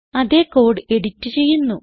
അതേ code edit ചെയ്യുന്നു